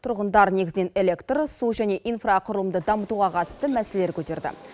тұрғындар негізінен электр су және инфрақұрылымды дамытуға қатысты мәселелер көтерді